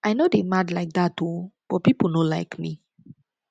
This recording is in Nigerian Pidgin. i no dey mad like dat oo but people no like me